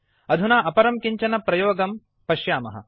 अधुना अपरं कञ्चन प्रयोगं पश्यामः